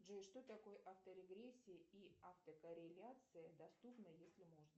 джой что такое авторегрессия и автокорреляция доступно если можно